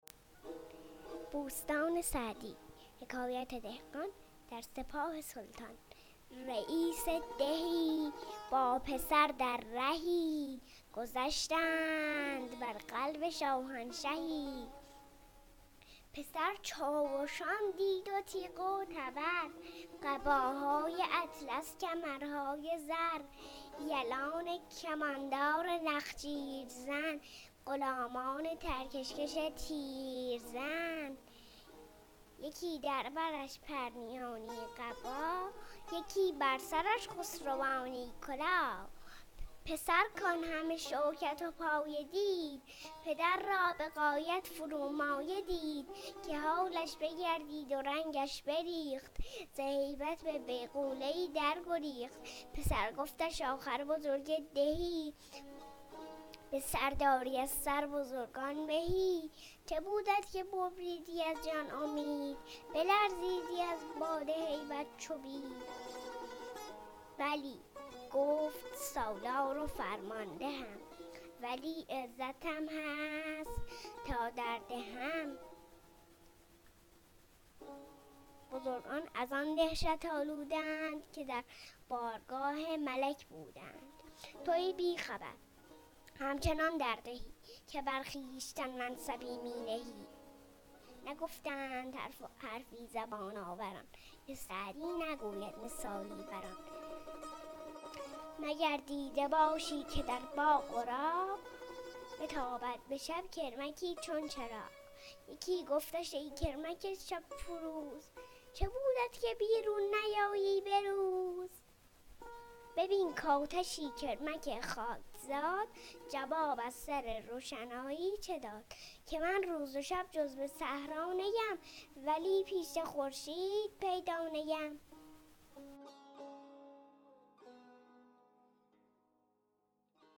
رییس دهی با پسر در رهی گذشتند بر قلب شاهنشهی پسر چاوشان دید و تیغ و تبر قباهای اطلس کمرهای زر یلان کماندار نخجیر زن غلامان ترکش کش تیرزن یکی در برش پرنیانی قباه یکی بر سرش خسروانی کلاه پسر کان همه شوکت و پایه دید پدر را به غایت فرومایه دید که حالش بگردید و رنگش بریخت ز هیبت به بیغوله ای در گریخت پسر گفتش آخر بزرگ دهی به سرداری از سر بزرگان مهی چه بودت که ببریدی از جان امید بلرزیدی از باد هیبت چو بید بلی گفت سالار و فرماندهم ولی عزتم هست تا در دهم بزرگان از آن دهشت آلوده اند که در بارگاه ملک بوده اند تو ای بی خبر همچنان در دهی که بر خویشتن منصبی می نهی نگفتند حرفی زبان آوران که سعدی نگوید مثالی بر آن مگر دیده باشی که در باغ و راغ بتابد به شب کرمکی چون چراغ یکی گفتش ای کرمک شب فروز چه بودت که بیرون نیایی به روز ببین کآتشی کرمک خاکزاد جواب از سر روشنایی چه داد که من روز و شب جز به صحرا نیم ولی پیش خورشید پیدا نیم